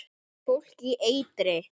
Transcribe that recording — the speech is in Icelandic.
Fólk í eitri